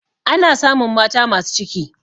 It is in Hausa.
ana samun mata masu ciki